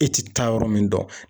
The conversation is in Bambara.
E tɛ taa yɔrɔ min dɔn